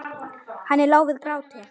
Henni lá við gráti.